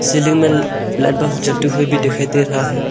Ceiling में light bulb जलते हुए भी दिखाई दे रहा है।